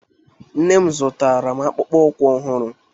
Nne m zụtara m akpụkpọ ụkwụ ọhụrụ